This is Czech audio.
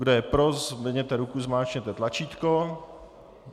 Kdo je pro, zvedněte ruku, zmáčkněte tlačítko.